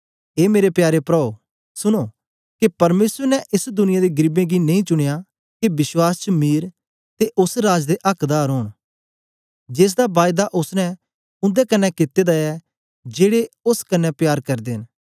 ए मेरे प्यारे प्राओ सुनो के परमेसर ने एस दुनिया दे गरीबें गी नेई चुनयां के विश्वास च मीर ते ओस राज दे आक्दार ओंन जेसदा बायदा ओसने उन्दे कन्ने कित्ते दा ऐ जेड़े ओस कन्ने प्यार करदे न